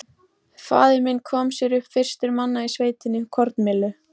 Faðir minn kom sér upp, fyrstur manna í sveitinni, kornmyllu.